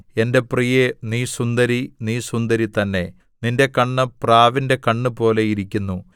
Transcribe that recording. എന്റെ പ്രിയേ നീ സുന്ദരി നീ സുന്ദരി തന്നെ നിന്റെ കണ്ണ് പ്രാവിന്റെ കണ്ണുപോലെ ഇരിക്കുന്നു